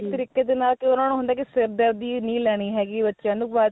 ਤਰੀਕੇ ਦੇ ਨਾਲ ਉਹਨਾ ਨੂੰ ਹੁੰਦਾ ਕੀ ਸਿਰਦਰਦੀ ਨਹੀਂ ਲੈਣੀ ਹੈਗੀ ਬੱਚਿਆ ਨੂੰ